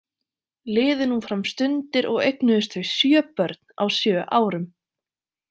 Liðu nú fram stundir og eignuðust þau sjö börn, á sjö árum.